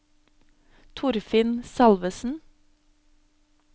Torfinn Salvesen